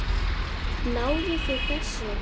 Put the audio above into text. Náðuð þið þessu?